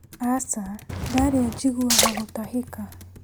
Aca ndarĩa njiguaga gũtahĩka